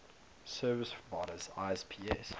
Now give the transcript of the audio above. service providers isps